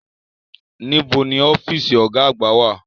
Níbo ni ọ́fíìsì Ọ̀gá àgbà wà?